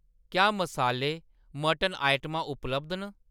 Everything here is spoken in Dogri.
क्या मसाले, मटन आइटमां उपलब्ध न ?